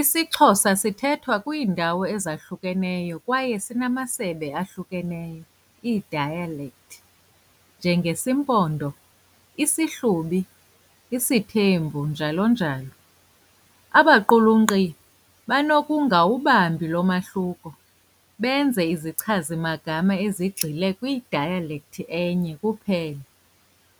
IsiXhosa sithwethwa kwiindawo ezahlukeneyo kwaye sinamasebe ahlukeneyo, ii-dialect njengesiMpondo, isiHlubi, isiThembu, njalo njalo. Abaqulunqi banokungawubahambi lo mahluko, benze izichazimagama ezigxile kwi-dialect enye kuphela,